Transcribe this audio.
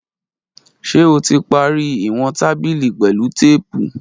Ṣe o ti pari iwọn tabili pẹlu teepu?